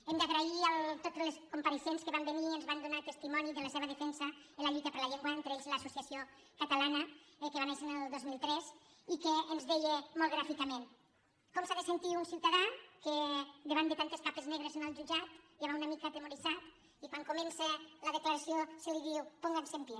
hem de donar les gràcies a tots els compareixents que van venir i ens van donar testimoni de la seva defensa en la lluita per la llengua entre ells l’associació cata·lana que va néixer el dos mil tres i que ens deia molt gràfi·cament com s’ha de sentir un ciutadà que davant de tantes capes negres en el jutjat ja va una mica atemo·rit i quan comença la declaració se li diu pónganse en pie